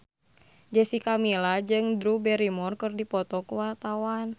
Jessica Milla jeung Drew Barrymore keur dipoto ku wartawan